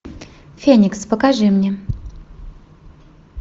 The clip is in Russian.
феникс покажи мне